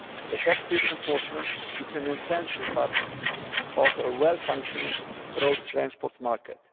Effective enforcement is an essential part of a well functioning road transport market.